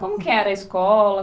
Como que era a escola?